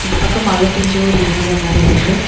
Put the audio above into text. இந்த பக்கம் மழ பெஞ்ச ஒரு ஏரியா மாறி இருக்கு.